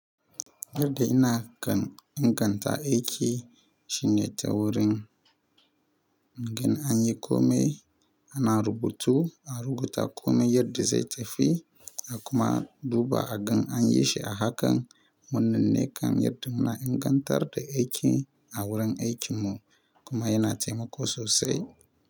Yadda ina kan inganta aiki shine ta wurin ina yin kome ina rubutu, a rubuta kome yadda zai tafi a kuma duba akan an yi shi a hakan wannan ne kan yadda muna ingantar da aiki a wurin aikin mu kuma yana taimako sosai.